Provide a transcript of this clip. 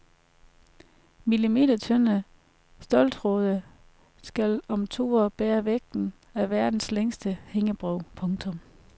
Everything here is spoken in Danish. Millimetertynde ståltråde skal om to år bære vægten af verdens længste hængebro. punktum